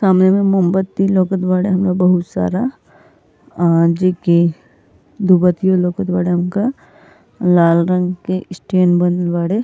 सामने में मोमबत्ती लउकत बाड़े हममे बहोत सारा। जे के दु बतियो लउकत बाड़े हमका। लाल रंग के स्टैन बनल बाड़े।